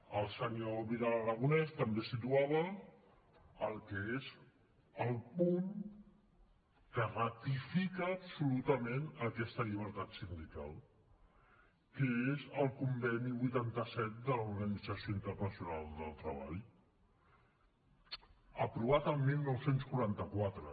el senyor vidal aragonés també situava el que és el punt que ratifica absolutament aquesta llibertat sindical que és el conveni vuitanta set de l’organització internacional del treball aprovat el dinou quaranta quatre